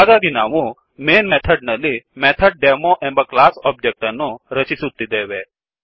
ಹಾಗಾಗಿ ನಾವು main method ನಲ್ಲಿ ಮೆಥಡ್ ಡೆಮೊ ಎಂಬ ಕ್ಲಾಸ್ ಒಬ್ಜೆಕ್ಟ್ ಅನ್ನು ರಚಿಸುತ್ತಿದ್ದೆವೆ